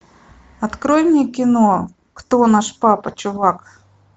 открой мне кино кто наш папа чувак